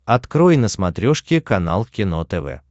открой на смотрешке канал кино тв